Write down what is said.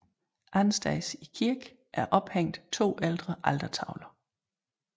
Andetsteds i kirken er ophæng to ældre altertavler